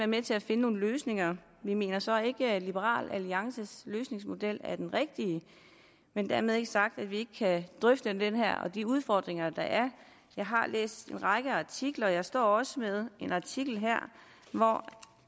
med til at finde nogle løsninger vi mener så ikke at liberal alliances løsningsmodel er den rigtige men dermed ikke sagt at vi ikke kan drøfte den og de udfordringer der er jeg har læst en række artikler og jeg står også med en artikel her hvor